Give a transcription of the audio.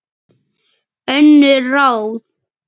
Önnur ráð